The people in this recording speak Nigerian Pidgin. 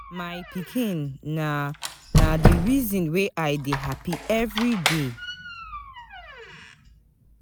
My pikin na na di reason why I dey happy everyday.